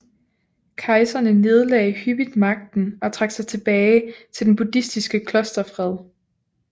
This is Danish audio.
Kejserne nedlagde hyppigt magten og trak sig tilbage til den buddhistiske klosterfred